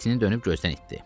Sonra tini dönüb gözdən itdi.